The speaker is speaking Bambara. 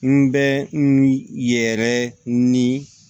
N bɛ n yɛrɛ ni